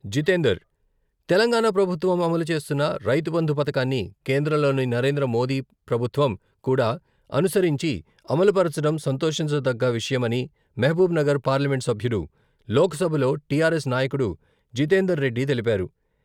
జితేందర్, తెలంగాణ ప్రభుత్వం అమలు చేస్తున్న రైతుబంధు పథకాన్ని కేంద్రంలోని నరేంద్ర మోడీ ప్రభుత్వం కూడా అనుసరించి అమలుపరచడం సంతోషించదగ్గ విషయం అని మహబూబ్‌నగర్ పార్లమెంటు సభ్యుడు లోక్సభలో టిఆర్ఎస్ నాయకుడు జితేందర్ రెడ్డి తెలిపారు..